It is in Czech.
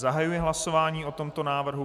Zahajuji hlasování o tomto návrhu.